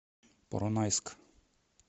поронайск